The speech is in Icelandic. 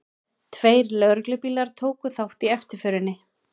Tveir lögreglubílar tóku þátt í eftirförinni